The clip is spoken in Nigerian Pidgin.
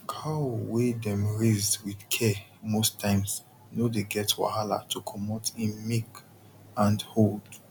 cow wey dem raise with care most times no dey get wahala to comot im milk and hold